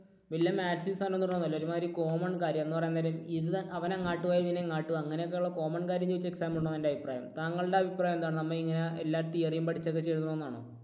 വലിയ maximum സാധനങ്ങൾ ഒന്നുമല്ല. ഒരുമാതിരി common കാര്യം. എന്ന് പറയാൻ നേരം അവൻ അങ്ങോട്ട് പോയി ഇവൻ ഇങ്ങോട്ട് പോയി. അങ്ങനെയൊക്കെ ഉള്ള common കാര്യം ചോദിച്ച് exam ഇടണം എന്നാണ് എൻറെ അഭിപ്രായം. താങ്കളുടെ അഭിപ്രായം എന്താണ്? നമ്മളിങ്ങനെ എല്ലാ theory യും പഠിച്ച് അതൊക്കെ എഴുതണം എന്നാണോ?